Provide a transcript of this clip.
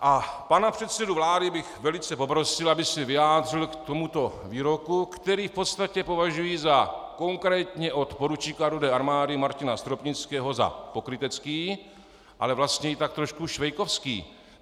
A pana předsedu vlády bych velice poprosil, aby se vyjádřil k tomuto výroku, který v podstatě považuji za konkrétně od poručíka Rudé armády Martina Stropnického za pokrytecký, ale vlastně i tak trošku švejkovský.